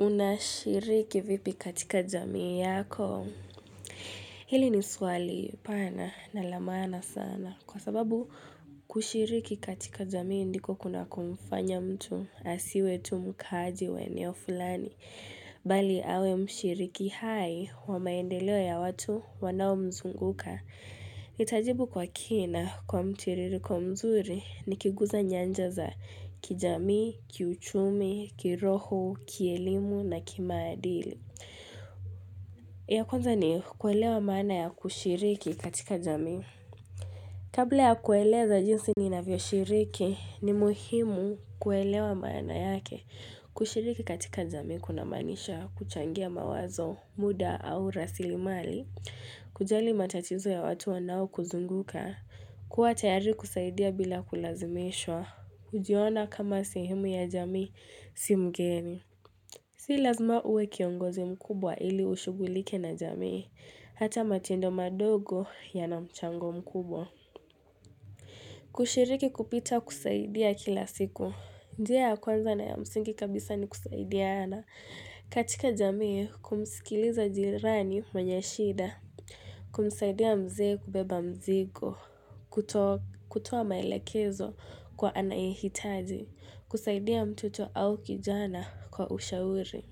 Unashiriki vipi katika jamii yako? Hili ni swali pana na la maana sana kwa sababu kushiriki katika jamii ndiko kunakomfanya mtu asiwe tu mkaaji wa eneo fulani. Bali awe mshiriki hai wa maendeleo ya watu wanaomzunguka. Nitajibu kwa kina kwa mtiririko mzuri nikiguza nyanja za kijamii, kiuchumi, kiroho, kielimu na kimaadili. Ya kwanza ni kuelewa maana ya kushiriki katika jamii. Kabla ya kueleza jinsi ninavyoshiriki ni muhimu kuelewa maana yake kushiriki katika jamii kunamaanisha kuchangia mawazo, muda au rasilimali kujali matatizo ya watu wanaokuzunguka, kuwa tayari kusaidia bila kulazimishwa, hujiona kama sehemu ya jamii si mgeni. Si lazima uwe kiongozi mkubwa ili ushughulike na jamii. Hata matendo madogo yana mchango mkubwa kushiriki kupita kusaidia kila siku. Njia ya kwanza na ya msingi kabisa ni kusaidiana. Katika jamii kumsikiliza jirani mwenye shida kumsaidia mzee kubeba mzigo, kutoa maelekezo kwa anayehitaji, kusaidia mtoto au kijana kwa ushauri.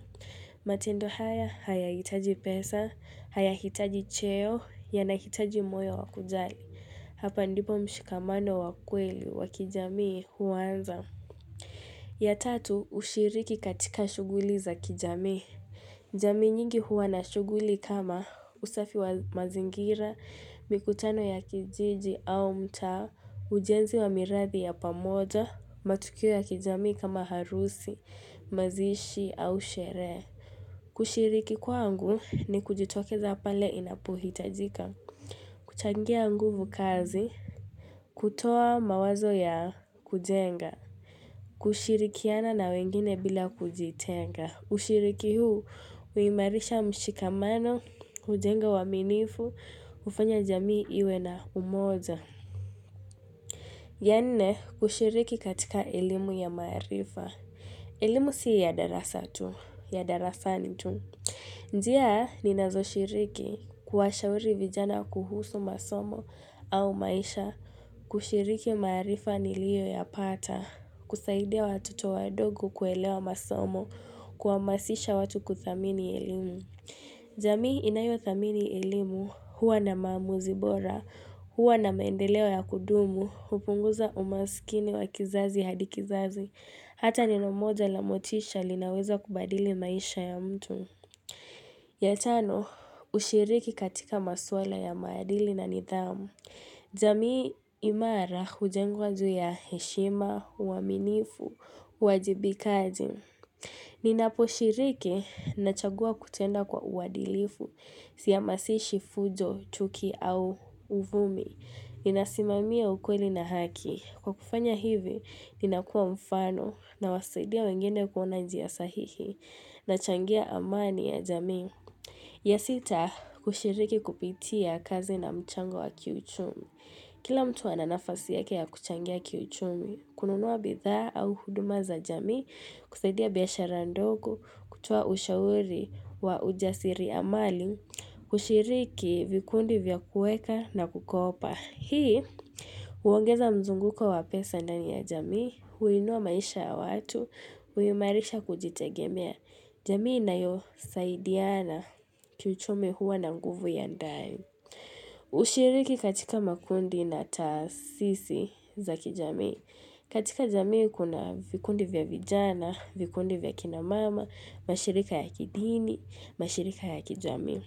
Matendo haya hayahitaji pesa, hayahitaji cheo, yanahitaji moyo wa kujali. Hapa ndipo mshikamano wa kweli wa kijamii huanza. Ya tatu, ushiriki katika shughuli za kijamii. Jamii nyingi huwa na shughuli kama usafi wa mazingira, mikutano ya kijiji au mtaa, ujenzi wa miradi ya pamoja, matukio ya kijamii kama harusi, mazishi au sherehe. Kushiriki kwangu ni kujitokeza pale inapohitajika, kuchangia nguvu kazi, kutoa mawazo ya kujenga. Kushirikiana na wengine bila kujitenga. Kushiriki huu, huimarisha mshikamano, hujenga uaminifu, hufanya jamii iwe na umoja. Ya nne, kushiriki katika elimu ya maarifa. Elimu si ya darasa tu, ya darasani tu. Njia, ninazoshiriki kuwashauri vijana kuhusu masomo au maisha. Kushiriki maarifa niliyoyapata. Kusaidia watoto wadogo kuelewa masomo. Kuhamasisha watu kuthamini elimu. Jamii inayothamini elimu huwa na maamuzi bora, huwa na maendeleo ya kudumu, hupunguza umasikini wa kizazi hadi kizazi. Hata neno moja la motisha linaweza kubadili maisha ya mtu. Ya tano, ushiriki katika maswala ya maadili na nidhamu. Jamii imara hujengwa juu ya heshima, uaminifu, uwajibikaji. Ninaposhiriki nachagua kutenda kwa uadilifu, sihamasishi fujo, chuki au uvumi. Ninasimamia ukweli na haki. Kwa kufanya hivi, ninakua mfano nawasaidia wengine kuona njia sahihi. Nachangia amani ya jamii. Ya sita, kushiriki kupitia kazi na mchango wa kiuchumi. Kila mtu ana nafasi yake ya kuchangia kiuchumi, kununua bidhaa au huduma za jamii, kusaidia biashara ndogo, kutoa ushauri wa ujasiriamali, kushiriki vikundi vya kuweka na kukopa. Hii, huongeza mzunguko wa pesa ndani ya jamii, huinua maisha ya watu, huimarisha kujitegemea, jamii inayosaidiana kiuchumi huwa na nguvu ya ndani. Hushiriki katika makundi na taasisi za kijamii. Katika jamii kuna vikundi vya vijana, vikundi vya kina mama, mashirika ya kidini, mashirika ya kijamii.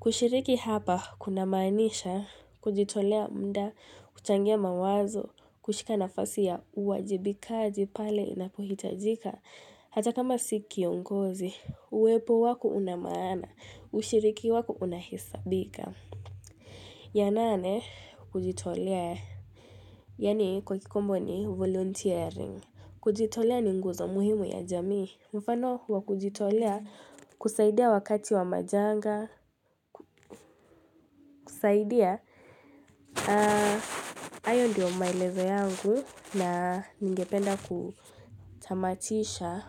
Kushiriki hapa kunamaanisha, kujitolea muda, kuchangia mawazo, kushika nafasi ya uwajibikaji pale inapohitajika Hata kama si kiongozi, uwepo wako una maana, ushiriki wako unahesabika. Ya nane kujitolea. Yaani kwa kikombo ni volunteering. Kujitolea ni nguzo muhimu ya jamii. Mfano wa kujitolea kusaidia wakati wa majanga kusaidia, hayo ndiyo maelezo yangu na ningependa kutamatisha.